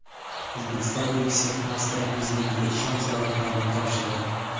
O‘zbekiston elchisi Avstriya prezidentiga ishonch yorliqlarini topshirdi.